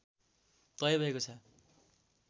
तय भएको छ